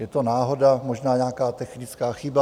Je to náhoda, možná nějaká technická chyba?